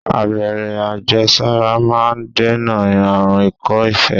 Abẹ́rẹ́ àjẹsára máà ń dènà àrùn ikọ́-ife.